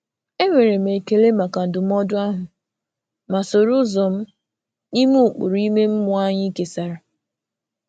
E nwere m ekele maka ndụmọdụ ahụ, ma soro ụzọ m n’ime ụkpụrụ ime mmụọ anyị kesàrà.